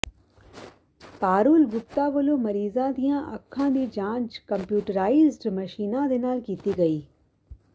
ਪਾਰੂਲ ਗੁਪਤਾ ਵੱਲੋਂ ਮਰੀਜਾਂ ਦੀਆਂ ਅੱਖਾਂ ਦੀ ਜਾਂਚ ਕੰਪਿਊਟਰਾਈਜ਼ਡ ਮਸ਼ੀਨਾਂ ਦੇ ਨਾਲ ਕੀਤੀ ਗਈ